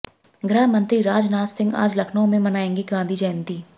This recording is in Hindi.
गृहमंत्री राजनाथ सिंह आज लखनऊ में मनाएंगे गांधी जयंती